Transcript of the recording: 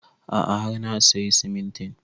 A'a har na sayi simintin